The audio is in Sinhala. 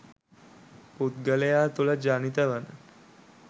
පුද්ගලයා තුළ ජනිත වන